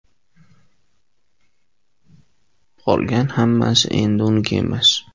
Qolgan hammasi esa endi uniki emas.